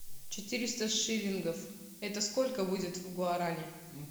четыреста шиллингов это сколько будет в гуарани